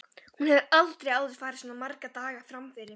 Hún hefur aldrei áður farið svona marga daga fram yfir.